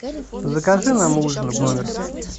закажи нам ужин в номер